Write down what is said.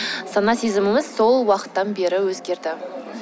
сана сезіміміз сол уақыттан бері өзгерді